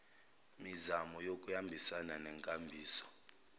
mizamo kuyohambisana nenkambiso